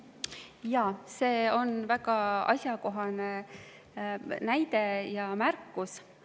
Jaa, see on väga asjakohane näide ja märkus.